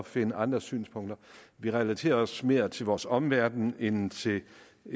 finde andre synspunkter vi relaterer os mere til vores omverden end til